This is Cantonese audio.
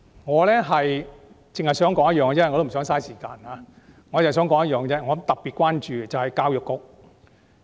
我不想浪費時間詳細討論，我只想指出一點，我特別關注教育方面。